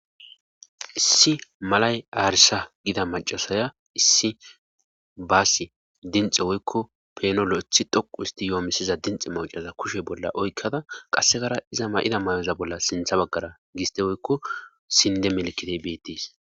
Issi malay aarisha gida macasaya issi baasi dinxe woykko penolo ithi dhoqu isti yoomisiza dinxi macaza kushe bolla oykkada qassegara iza ma7ida may7oza bolla sintha baggara giste woykko sinde melkitey beettes